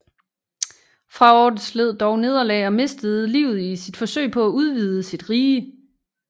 Fraortes led dog nederlag og mistede livet i sit forsøg på at udvide sit rige